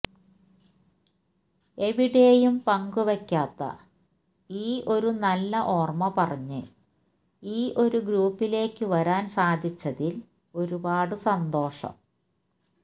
എവിടെയും പങ്ക് വെക്കാത്ത ഈ ഒരു നല്ല ഓർമ്മ പറഞ്ഞ് ഈ ഒരു ഗ്രൂപ്പിലേക്ക് വരാൻ സാധിച്ചതിൽ ഒരുപാട് സന്തോഷം